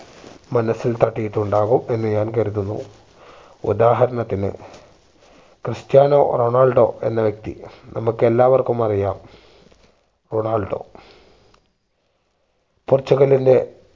മനസ്സിൽ തട്ടിയിട്ടുണ്ടാകും എന്ന് ഞാൻ കരുതുന്നു ഉദാഹരണത്തിന് ക്രിസ്ത്യാനോ റൊണാൾഡോ എന്ന വ്യക്തി നമ്മക്ക് എല്ലാവർക്കും അറിയാം റൊണാൾഡോ പോർച്ചുഗലിന്റെ